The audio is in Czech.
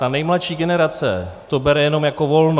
Ta nejmladší generace to bere jen jako volno.